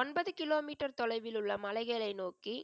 ஒன்பது kilometre தொலைவில் உள்ள மலைகளை நோக்கி,